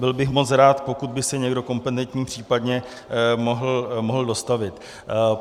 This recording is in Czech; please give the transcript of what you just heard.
Byl bych moc rád, pokud by se někdo kompetentní případně mohl dostavit.